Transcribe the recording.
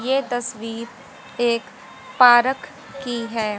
ये तस्वीर एक पारक की है।